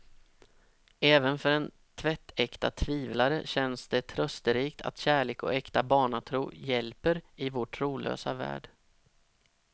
Även för en tvättäkta tvivlare känns det trösterikt att kärlek och äkta barnatro hjälper i vår trolösa värld.